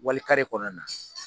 Wali kɔnɔna na.